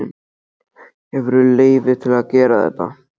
Hefurðu leyfi til að gera þetta?